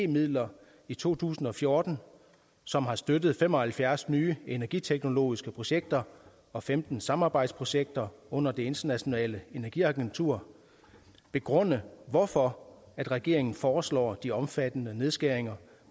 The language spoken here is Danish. midler i to tusind og fjorten som har støttet fem og halvfjerds nye energiteknologiske projekter og femten samarbejdsprojekter under det internationale energiagentur begrunde hvorfor regeringen foreslår de omfattende nedskæringer